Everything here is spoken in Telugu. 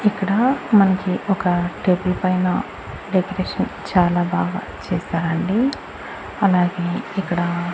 ఇక్కడ మనకి ఒక టేబుల్ పైన డెకరేషన్ చాలా బాగా చేశారండి అలాగే ఇక్కడా